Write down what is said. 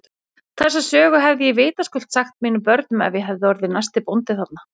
Þessa sögu hefði ég vitaskuld sagt mínum börnum ef ég hefði orðið næsti bóndi þarna.